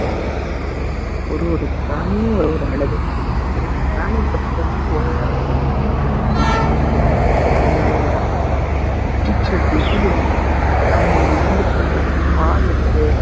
அதனால ஒரு ஒரு பிராணியும் ஒரு ஒரு அழகுங்க ஒரு ஒரு பிராணிய பத்தி சொன்னாலும் ஒரு ஒரு அழக சொல்லலாம் சரிங்களா அதனால அடிக்கிற வெயிலுல இந்த பிராணிங்க வெந்து படுற பாடு இருக்கே